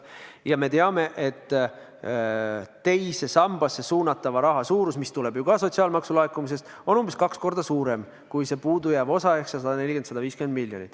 Ja me teame, et teise sambasse suunatava summa suurus, mis tuleneb ju ka sotsiaalmaksu laekumisest, on umbes kaks korda suurem kui see puudujääv osa ehk see 140–150 miljonit.